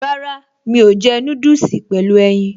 Rárá, mi ò jẹ́ núdùsì pẹ̀lú ẹyin